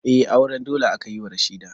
Eh, auren dole aka yi wa Rashida